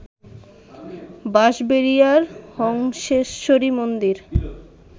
বাঁশবেড়িয়ার হংসেশ্বরী মন্দির